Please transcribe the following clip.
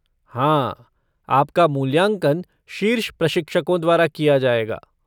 हाँ, आपका मूल्यांकन शीर्ष प्रशिक्षकों द्वारा किया जाएगा।